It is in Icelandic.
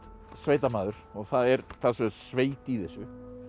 sveitamaður og það er talsverð sveit í þessu